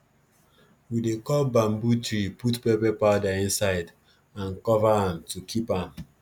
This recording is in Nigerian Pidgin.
we dey cut bamboo tree put pepper powder inside and cover am to keep am